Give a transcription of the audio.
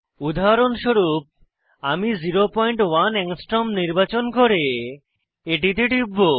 উদাহরণস্বরূপ আমি 01 অ্যাংস্ট্রম নির্বাচন করে এটিতে টিপব